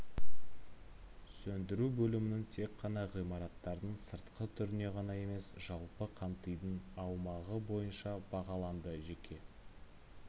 сөндіру бөлімнің тек қана ғимараттардың сыртқы түріне ғана емес жалпы қамтидың аумағы бойынша бағаланды жеке